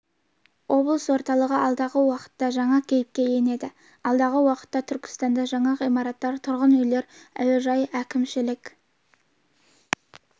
облыс орталығы алдағы уақытта жаңа кейіпке енеді алдағы уақытта түркістанда жаңа ғимараттар тұрғын үйлер әуежай әкімшілік